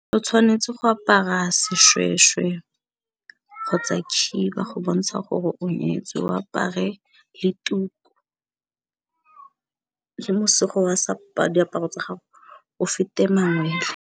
O tshwanetse go apara seshweshwe kgotsa khiba go bontsha gore o nyetswe, o apare le tuku , le mosego wa diaparo tsa gago o fete mangwele.